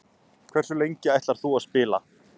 Hversu lengi ætlar þú að spila?